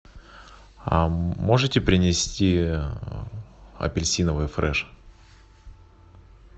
можете принести апельсиновый фреш